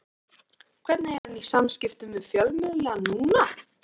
Hvernig er hann í samskiptum við fjölmiðla núna?